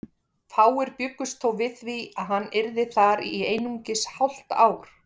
Fáir bjuggust þó við því að hann yrði þar í einungis hálft ár.